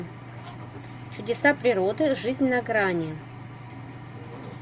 чудеса природы жизнь на грани